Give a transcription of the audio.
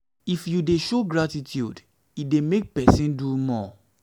if you de you de show gratitude e dey make persin do more